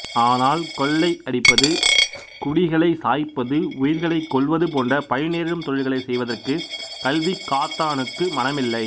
ஆனால் கொள்ளை அடிப்பது குடிகளை சாய்ப்பது உயிர்களை கொல்வது போன்ற பழி நேரும் தொழில்களை செய்வதற்கு கல்விகாத்தானுக்கு மனமில்லை